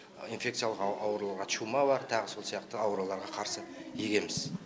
инфекциялық ауруларға чума бар тағы сол сияқты ауруларға қарсы егеміз